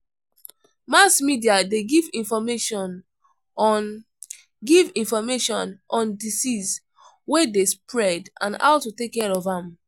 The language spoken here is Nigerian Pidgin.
Mass media de give information on give information on diseases wey de spread and how to take care of am